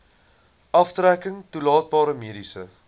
aftrekking toelaatbare mediese